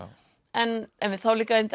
en en þá líka